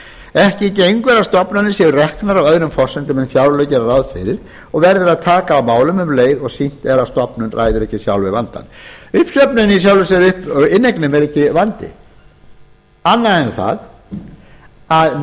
ekki gengur að stofnanir séu reknar á öðrum forsendum en fjárlög gera ráð fyrir og verður að taka á málum um leið og sýnt er að stofnun ræður ekki sjálf við vandann inneignin er ekki vandi annað en það að